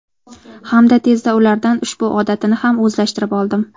Hamda tezda ulardan ushbu odatini ham o‘zlashtirib oldim.